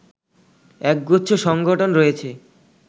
এক গুচ্ছ সংগঠন রয়েছে